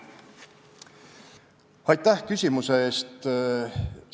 Aitäh küsimuse eest!